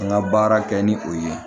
N ka baara kɛ ni o ye